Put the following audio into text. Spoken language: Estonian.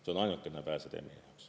See on ainuke pääsetee meie jaoks.